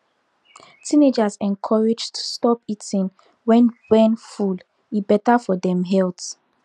teenagers encouraged stop eating when when full e better for dem health